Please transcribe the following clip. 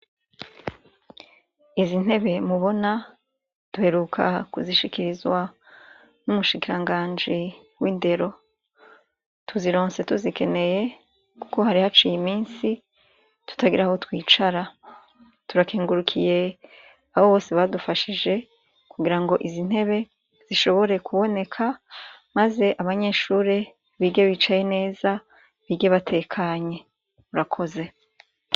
Izi ntebe mubona duheruka kuzishikirizwa n'umushikiranganji w'indero. Tuzironse tuzikeneye kuko hari haciye imisi tutagira aho twicara. Turakengurukiye abo bose badufashije kugira ngo izi ntebe zishobore kuboneka maze abanyeshure bige bicaye neza, bige batekanye. Murakoze.